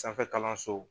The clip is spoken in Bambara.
Sanfɛ kalanso